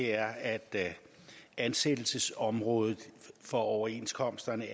er at ansættelsesområdet for overenskomsterne